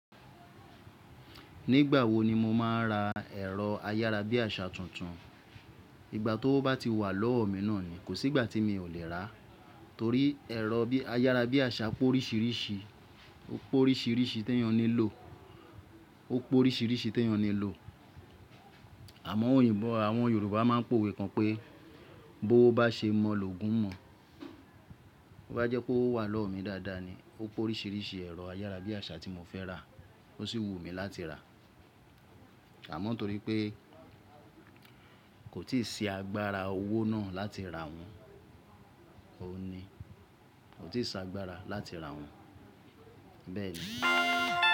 Nígbà wo ni mo máa ra ẹ̀rọ ayára bí àsá tuntun? Ìgbà tówó bá ti wà lọ́wọ́ mi náà ni, kò sí ìgbà tí mi ò lè rá á, torí ẹ̀rọ ayára bí àsá pé oríṣiríṣi, ó pé oríṣiríṣi tí èèyàn ní lò. Àmọ òyìnbó àwọn Yorùbá máa ń pòwe kan pé: "Bówó bá ṣe mọ̀ lògùn mọ." Bí ó bá jẹ́ pé owó wà lọ́wọ́ mi dáadáa ni, ó pé oríṣiríṣi ẹ̀rọ ayára bí àsá tí mo fẹ́ rà á, ó sì wù mí láti rà á. Àmọ torí pé kò tíì sí agbára owó náà láti rà wọ́n, òun ni, kò tíì sí agbára láti rà wọ́n, bẹ́ẹ̀ni.